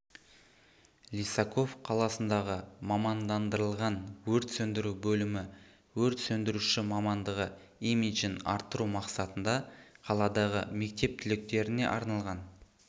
лисаков қаласындағы мамандандырылған өрт сөндіру бөлімі өрт сөндіруші мамандығы имиджін арттыру мақсатында қаладағы мектеп түлектеріне арналған